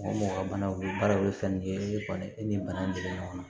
Mɔgɔ ka banaw baaraw bɛ fɛn min kɛ kɔni i ni bana bɛ ɲɔgɔn na